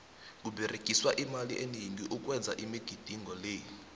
kuberegiswa imali eningi ukwenza imigidingo le